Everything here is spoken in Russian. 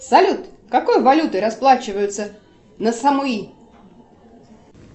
салют какой валютой расплачиваются на самуи